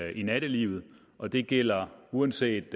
i nattelivet og det gælder uanset